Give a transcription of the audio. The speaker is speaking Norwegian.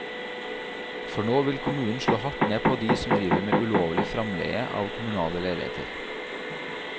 For nå vil kommunen slå hardt ned på de som driver med ulovlig fremleie av kommunale leiligheter.